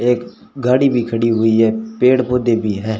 एक गाड़ी भी खड़ी हुई है पेड़ पौधे भी है।